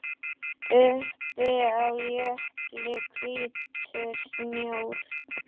Uppi á jökli hvítur snjór.